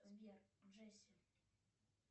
сбер джесси